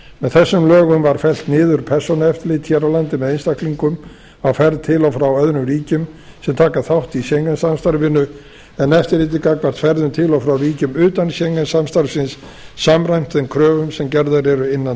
þessum lögum var fellt niður persónueftirlit hér á landi með einstaklingum á ferð til og frá öðrum ríkjum sem taka þátt í schengen samstarfinu en eftirlitið gagnvart ferðum til og frá ríkjum utan schengen samstarfsins samræmt þeim kröfum sem gerðar eru innan